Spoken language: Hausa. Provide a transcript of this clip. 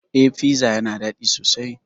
Eh piza yana dadi sosai